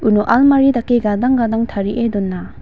uno almari dake gadang gadang tarie dona.